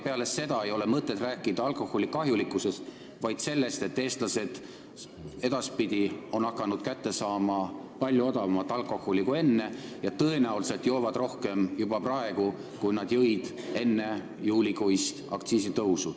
Peale seda ei ole mõtet rääkida alkoholi kahjulikkusest, vaid tuleb rääkida sellest, et eestlased on hakanud alkoholi kätte saama palju odavamalt kui enne ja tõenäoliselt joovad juba praegu rohkem, kui nad jõid enne juulikuist aktsiisitõusu.